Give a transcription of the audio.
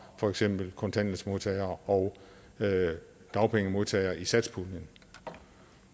for eksempel kontanthjælpsmodtagere og dagpengemodtagere i satspuljen